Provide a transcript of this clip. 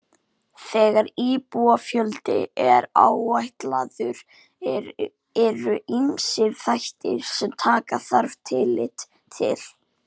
Þegar íbúafjöldi er áætlaður eru ýmsir þættir sem taka þarf tillit til.